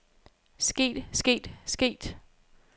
sket sket sket